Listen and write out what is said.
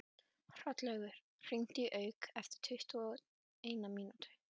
Hrollaugur, hringdu í Hauk eftir tuttugu og eina mínútur.